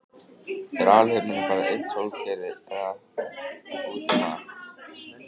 er alheimurinn bara eitt sólkerfi eða útum allt